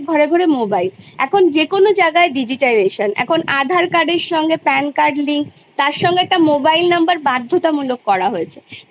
Higher Secondary তে গিয়ে ভাগ করি সেটা সেই মধ্য পর্যাতেই ভাগ করে সেইভাবে পড়াশুনোটাকে এগোবার জন্য চিন্তা ভাবনা করা হচ্ছে